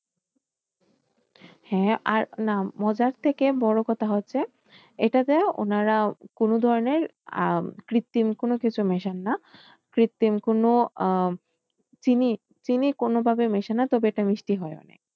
হ্যাঁ আর না মজার থেকে বড় কথা হচ্ছে। এটাতে উনারা কোন ধরনের আহ কৃত্রিম কোন কিছু মেশান না কৃত্রিম কোন আহ চিনি কোনভাবে মেশে না তবে খুব এটা মিষ্টি হয়।